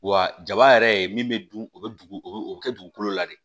Wa jaba yɛrɛ ye min bɛ dun o bɛ dugu o bɛ kɛ dugukolo la de